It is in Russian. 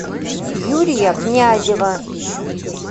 юрия князева